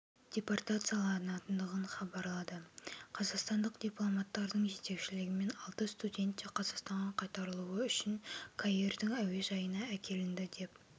депортацияланатындығын хабарлады қазақстандық дипломаттардың жетекшілігімен алты студент те қазақстанға қайтарылуы үшін каирдің әуежайына әкелінді деп